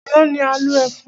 Àná ni a lo ẹfun.